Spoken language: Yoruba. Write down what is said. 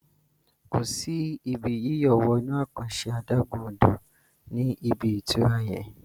kọ sí Ibi yíyọ̀ wọnú àkànṣe adágún-odò ní ibí ìtura yén.